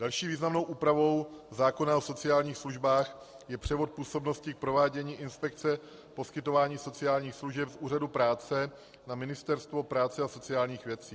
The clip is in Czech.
Další významnou úpravou zákona o sociálních službách je převod působnosti k provádění inspekce poskytování sociálních služeb z úřadů práce na Ministerstvo práce a sociálních věcí.